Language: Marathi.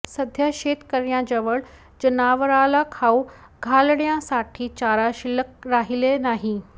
सध्या शेतकर्यांजवळ जनावराला खाऊ घालण्यासाठी चारा शिल्लक राहिलेला नाही